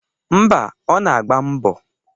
Ḿbà, Ọ na-agba mbo.